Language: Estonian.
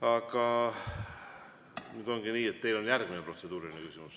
Aga nüüd on nii, et teil on veel üks protseduuriline küsimus.